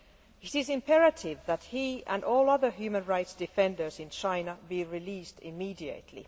It is imperative that he and all other human rights defenders in China be released immediately.